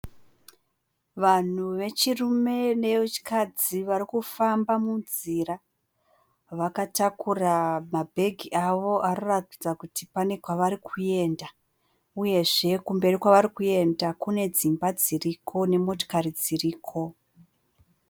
Vanhu vechirume nevechikadzi varikufamba munzira. Vakatakura mabhegi avo anoratidza kuti kune kwavari kuenda uyezve kumberi kwavari kuenda kune dzimba dziriko nemotokari dziriko.